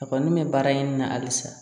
A kɔni bɛ baara ɲini na halisa